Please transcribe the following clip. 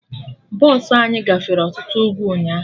Bọsụ anyị gafere ọtụtụ ugwu ụnyaahụ